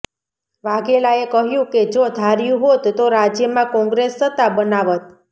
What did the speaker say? વાઘેલાએ કહ્યું કે જો ધાર્યું હોત તો રાજ્યમાં કોંગ્રેસ સત્તા બનાવત